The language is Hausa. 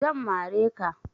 Zan mare ka.